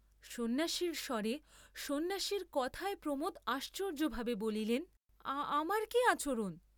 সন্ন্যাসীর স্বরে সন্ন্যাসীর কথায় প্রমোদ আশ্চর্য্যভাবে বলিলেন, আমার কি আচরণ?